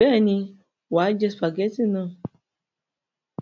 Bẹ́ẹ̀ ni, wà á jẹ sìpàgẹ́tì náà.